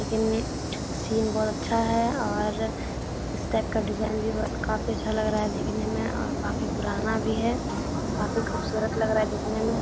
लेकिन सीन बहुत अच्छा है और इस टाइप का डिज़ाइन भी काफ़ी अच्छा लग रहा है देखने में और काफ़ी पुराना भी है काफ़ी खूबसूरत लग रहा है देखने में ।